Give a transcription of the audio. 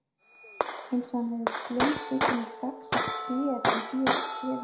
Eins og hann hefði slengst utan í gagnsætt gler í síðasta skrefinu.